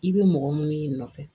I bɛ mɔgɔ minnu y'i nɔfɛ